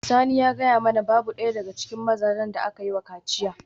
Sani yana gaya mana babu daya daga cikin mazajen da aka yi wa kaciya